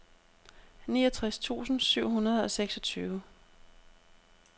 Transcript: niogtres tusind syv hundrede og seksogtyve